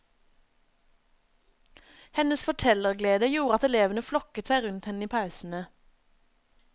Hennes fortellerglede gjorde at elevene flokket seg rundt henne i pausene.